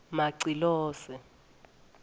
macilose